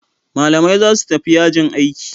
Malamai zasu tafi yajin aiki